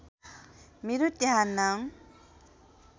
मेरो त्यहाँ नाम